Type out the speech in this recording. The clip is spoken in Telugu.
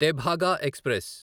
తెభాగా ఎక్స్ప్రెస్